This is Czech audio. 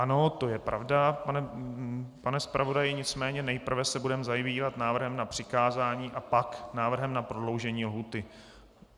Ano, to je pravda, pane zpravodaji, nicméně nejprve se budeme zabývat návrhem na přikázání a pak návrhem na prodloužení lhůty.